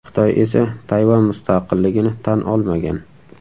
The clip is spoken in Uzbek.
Xitoy esa Tayvan mustaqilligini tan olmagan.